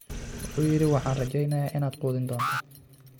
'Wuxuu yidhi waxaan rajaynayaa inaad quudin doonto''